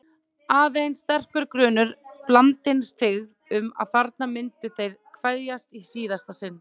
Aðeins sterkur grunur, blandinn hryggð, um að þarna myndu þeir kveðjast í síðasta sinn.